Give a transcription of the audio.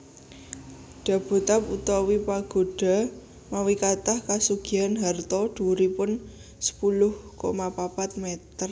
Dabotab utawi Pagoda mawi kathah kasugihan harta dhuwuripun sepuluh koma papat meter